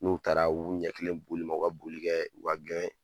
N'u taara u b'u ɲɛ kilen boli ma, u ka boli kɛ u ka